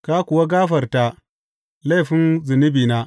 Ka kuwa gafarta laifin zunubina.